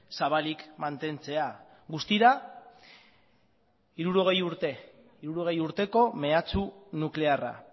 zabalik mantentzea guztira hirurogei urteko mehatxu nuklearra